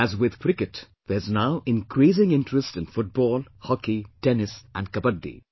As with Cricket, there's now increasing interest in Football, Hockey, Tennis, and Kabaddi